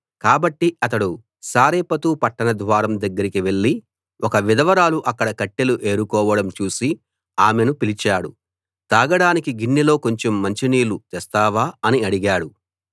కాబట్టి అతడు సారెపతు పట్టణ ద్వారం దగ్గరికి వెళ్ళి ఒక విధవరాలు అక్కడ కట్టెలు ఏరుకోవడం చూసి ఆమెను పిలిచాడు తాగడానికి గిన్నెలో కొంచెం మంచినీళ్ళు తెస్తావా అని అడిగాడు